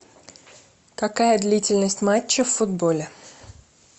какая длительность матча в футболе